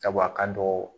Sabu a ka dɔgɔ